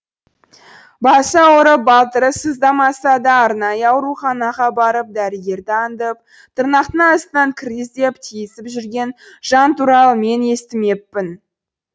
басы ауырып балтыры сыздамаса да арнайы ауруханаға барып дәрігерді аңдып тырнақтың астынан кір іздеп тиісіп жүрген жан туралы мен естімеппін